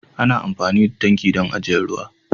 Ana amfani da tanki dan ajiyan ruwa.